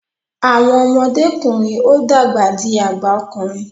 Awọn ọmọdekunrin o dàgbà dì àgbà okùnrin